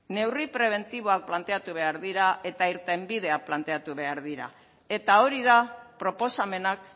neurri prebentiboak planteatu behar dira eta irtenbideak planteatu behar dira eta hori da proposamenak